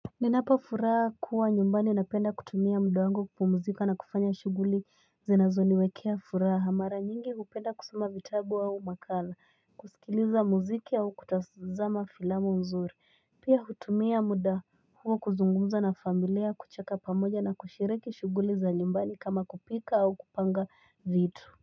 Ninapo furaha kuwa nyumbani napenda kutumia mda wangu kumuzika na kufanya shuguli zinazo niwekea furaha mara nyingi kupenda kusoma vitabu au makala kusikiliza muziki au kutazama filamu mzuri Pia hutumia muda huo kuzungumza na familia kucheka pamoja na kushiriki shuguli za nyumbani kama kupika au kupanga vitu.